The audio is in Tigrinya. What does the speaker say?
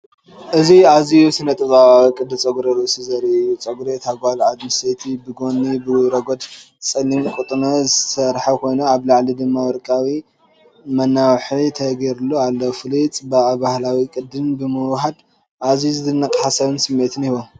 እዚ ኣዝዩ ስነ-ጥበባዊ ቅዲ ጸጉሪ ርእሲ ዘርኢ እዩ። ጸጉሪ እታ ጓል ኣንስተይቲ ብጎኒ ብረጒድ ጸሊም ቁናኖ ዝተሰርሐ ኮይኑ፡ ኣብ ላዕሊ ድማ ወርቃዊ መናውሒ ተገይርሉ ኣሎ። ፍሉይ ጽባቐን ባህላዊ ቅዲን ብምውህሃድ ኣዝዩ ዝድነቕን ሰሓብን ስምዒት ይህቦ።